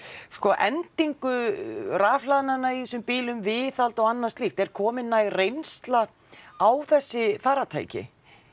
sko endingu rafhlaðnanna í þessum bílum viðhald og annað slíkt er komin næg reynsla á þessi farartæki